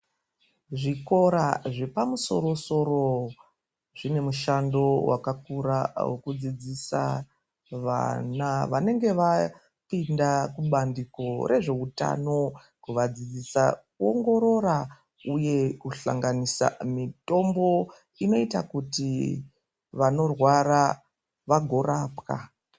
Zvikoro zvepamusoro soro Zvine mushando wakakura wekudzidzisa vana vanenge vapinda kubqndiko rezveutano kuvadzidzisa kuongorora uye kuhlanganisa Mitombo inoita kuti vanorwara vagorapwa.